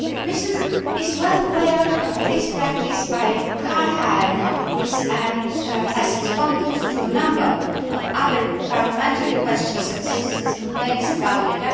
The Commission is well aware of this practice by car hire companies and has responded to a number of other parliamentary questions and citizens' complaints about it.